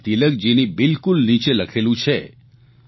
તેમાં તિલકજીની બિલકુલ નીચે લખેલું છે